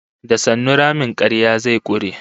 Da sannu ramin karya zai kure